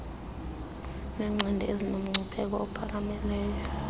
neencindi ezinomngcipheko ophakamileyo